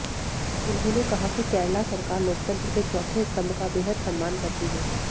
उन्होंने कहा कि केरला सरकार लोकतंत्र के चौथे स्तंभ का बेहद सम्मान करती है